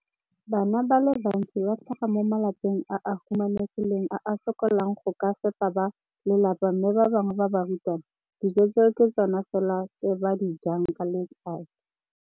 Bana ba le bantsi ba tlhaga mo malapeng a a humanegileng a a sokolang go ka fepa ba lelapa mme ba bangwe ba barutwana, dijo tseo ke tsona fela tse ba di jang ka letsatsi.